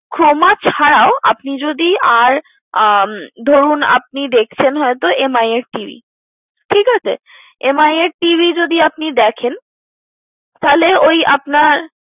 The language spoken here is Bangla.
Croma ছাড়াও আপনি যদি আর উম ধরুন আপনি দেখছেন হয়তো Mi এর TV ঠিকাছে। Mi এর TV যদি আপনি দেখেন তাহলে ওই আপনার